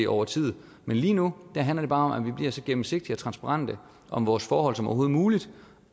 over tid men lige nu handler det bare om at vi bliver så gennemsigtige og transparente om vores forhold som overhovedet muligt